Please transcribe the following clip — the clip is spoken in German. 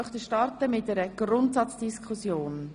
Wir starten mit einer Grundsatzdiskussion.